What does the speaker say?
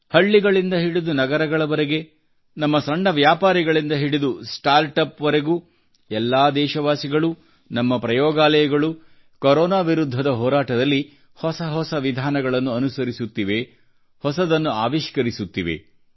ಹಳ್ಳಿಗಳಿಂದ ಹಿಡಿದು ನಗರಗಳವರೆಗೆ ನಮ್ಮ ಸಣ್ಣ ವ್ಯಾಪಾರಿಗಳಿಂದ ಹಿಡಿದು ಸ್ಟಾರ್ಟ್ ಅಪ್ ವರೆಗೂ ಎಲ್ಲಾ ದೇಶವಾಸಿಗಳು ನಮ್ಮ ಪ್ರಯೋಗಾಲಯಗಳು ಕೊರೊನಾ ವಿರುದ್ಧದ ಹೋರಾಟದಲ್ಲಿ ಹೊಸ ಹೊಸ ವಿಧಾನಗಳನ್ನು ಅನುಸರಿಸುತ್ತಿವೆ ಹೊಸದನ್ನು ಆವಿಷ್ಕರಿಸುತ್ತಿವೆ